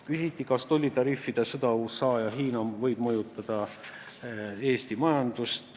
Küsiti, kas tollitariifide sõda USA ja Hiina vahel võib mõjutada Eesti majandust.